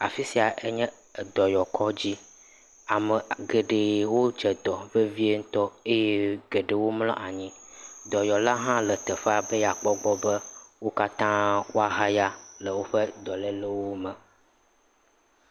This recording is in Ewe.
Afi sia enye dɔnɔkɔdzi, ame geɖe wodze dɔ vevie ŋutɔ eye geɖewo mlɔ anyi. Dɔyɔla hã le teƒea be yeakpɔ gbɔ bewo katã woahaya le woƒe dɔlélewo me.